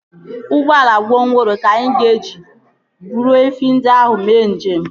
Ụgbọala gwongworo ka anyị ga-eji buru efi ndị ahụ mee njem